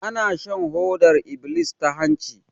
Ana shan hodar iblis ta hanci